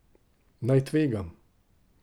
Naj tvegam?